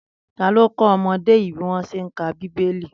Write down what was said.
Tàló kọ ọmọdé yi biwọn ṣé n kà́ bibéli?